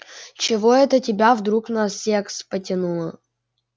чего это тебя вдруг на секс потянуло